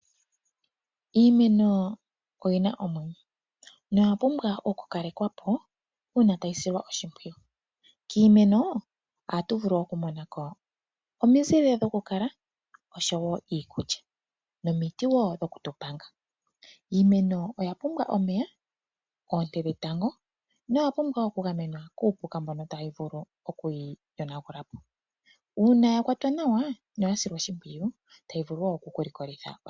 Iimeno oyina omwenyo noyapumbwa okukalekwapo uuna tayi silwa oshimpwiyu. Kiimeno ohatu vulu okumonako omizile dhokukalwa , iikulya nomiti dhokutu panga . Iimeno oya pumbwa omeya , oonte dhetango nokugamenwa kuupuka mbono tawu vulu okuyi yonapo.